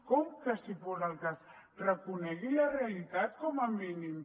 com que si fos el cas reconegui la realitat com a mínim